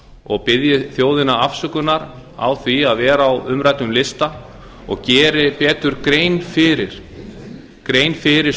og biðji þjóðina afsökunar á því að vera á umræddum lista og geri betur grein fyrir